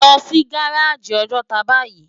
Lò si gáráji Òjòtá báyi